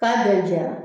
K'a bɛɛ jɛra